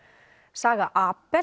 saga